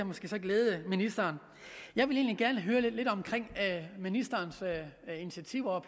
måske glæde ministeren jeg vil egentlig gerne høre lidt om ministerens initiativer og